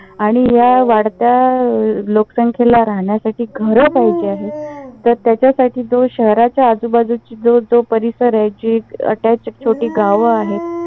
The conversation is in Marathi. आणि या वाढत्या लोकसंखेला राहण्यासाठी घरं पाहिजे आहेत. तर त्याच्यासाठी जो शहराच्या आजूबाजूची जो जो परिसर आहे. जी attach छोटी गावं आहेत.